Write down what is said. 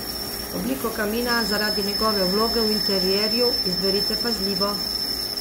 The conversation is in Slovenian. Obliko kamina zaradi njegove vloge v interjerju izberite pazljivo.